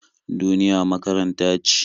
Duniya makaranta ce.